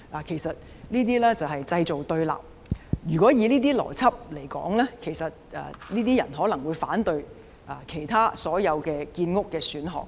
其實，這些就是製造對立，如果根據這種邏輯，這些人可能會反對其他所有建屋選項。